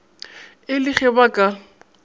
e le ge ba ka